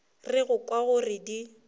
re go kwa gore di